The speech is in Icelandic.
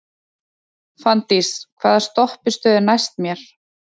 Fanndís, hvaða stoppistöð er næst mér?